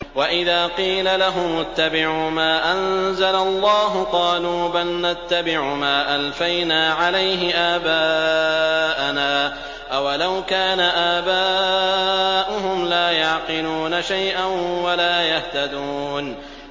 وَإِذَا قِيلَ لَهُمُ اتَّبِعُوا مَا أَنزَلَ اللَّهُ قَالُوا بَلْ نَتَّبِعُ مَا أَلْفَيْنَا عَلَيْهِ آبَاءَنَا ۗ أَوَلَوْ كَانَ آبَاؤُهُمْ لَا يَعْقِلُونَ شَيْئًا وَلَا يَهْتَدُونَ